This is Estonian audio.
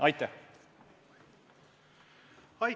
Aitäh!